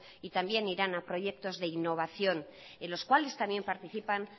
y también irán a proyectos de innovación en los cuales también participan